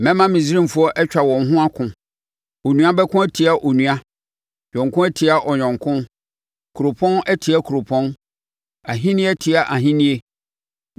“Mɛma Misraimfoɔ atwa wɔn ho ako, onua bɛko atia onua, ɔyɔnko atia ɔyɔnko, kuropɔn atia kuropɔn, ahennie atia ahennie.